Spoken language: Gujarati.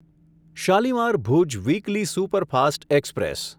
Shalimar Bhuj weekly superfast express